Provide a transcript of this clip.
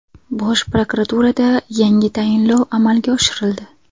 Bosh prokuraturada yangi tayinlov amalga oshirildi.